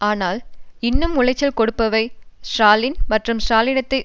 ஆனால் இன்னும் உளைச்சல் கொடுப்பவை ஸ்ராலின் மற்றும் ஸ்ராலினிசத்தை